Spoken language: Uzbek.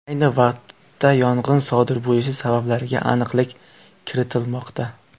Ayni vaqtda yong‘in sodir bo‘lishi sabablariga aniqlik kiritilmoqda.